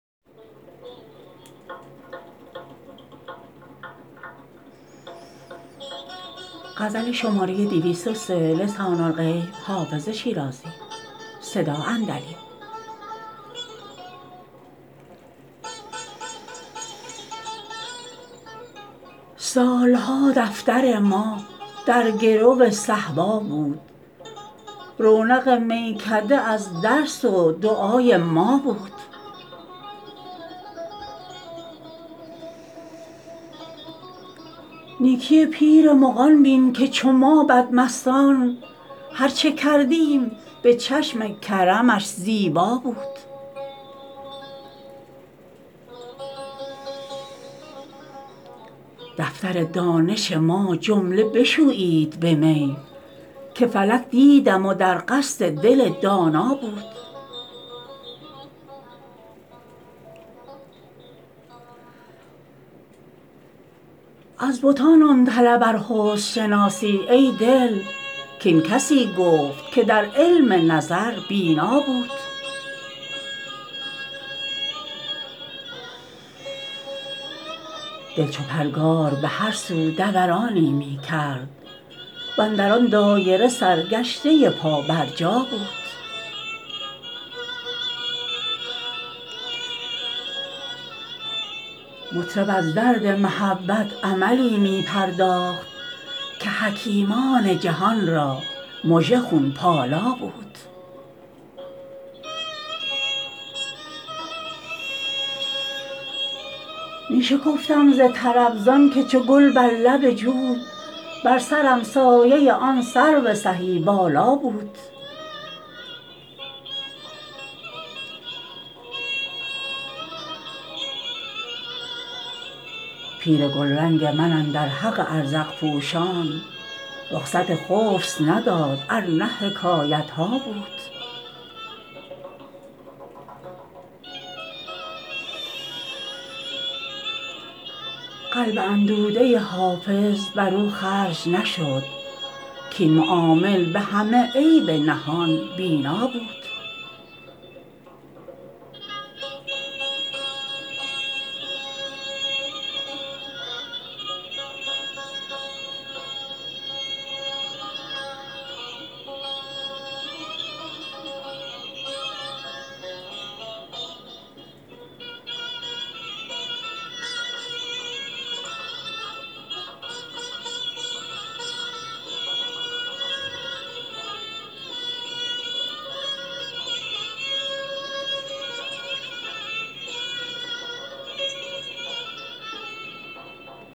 سال ها دفتر ما در گرو صهبا بود رونق میکده از درس و دعای ما بود نیکی پیر مغان بین که چو ما بدمستان هر چه کردیم به چشم کرمش زیبا بود دفتر دانش ما جمله بشویید به می که فلک دیدم و در قصد دل دانا بود از بتان آن طلب ار حسن شناسی ای دل کاین کسی گفت که در علم نظر بینا بود دل چو پرگار به هر سو دورانی می کرد و اندر آن دایره سرگشته پابرجا بود مطرب از درد محبت عملی می پرداخت که حکیمان جهان را مژه خون پالا بود می شکفتم ز طرب زان که چو گل بر لب جوی بر سرم سایه آن سرو سهی بالا بود پیر گلرنگ من اندر حق ازرق پوشان رخصت خبث نداد ار نه حکایت ها بود قلب اندوده حافظ بر او خرج نشد کاین معامل به همه عیب نهان بینا بود